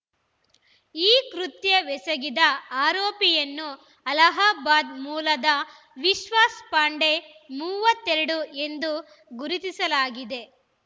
ಈ ಕೃತ್ಯವೆಸಗಿದ ಆರೋಪಿಯನ್ನು ಅಲಹಾಬಾದ್‌ ಮೂಲದ ವಿಶ್ವಾಸ್‌ ಪಾಂಡೆ ಮೂವತ್ತೆರಡು ಎಂದು ಗುರುತಿಸಲಾಗಿದೆ